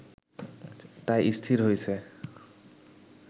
তাই স্থির হয়েছে